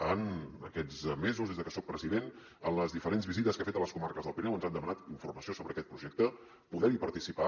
en aquests mesos des de que soc president en les diferents visites que ha fet a les comarques del pirineu ens han demanat informació sobre aquest projecte poder hi participar